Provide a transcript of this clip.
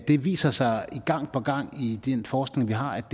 lige viser sig gang på gang i den forskning vi har ikke